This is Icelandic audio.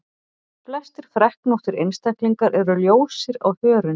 Flestir freknóttir einstaklingar eru ljósir á hörund.